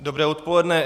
Dobré odpoledne.